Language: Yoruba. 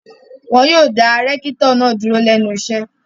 Wọ́n yóò dá rẹ́kítọ̀ náà dúró lẹ́nu iṣẹ́.